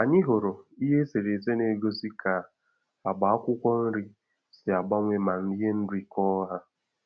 Anyị hụrụ ihe eserese na-egosi ka agba akwụkwọ nrị si agbanwe ma ihe nri kọọ ha